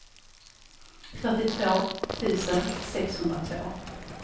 fyrtiotvå tusen sexhundratvå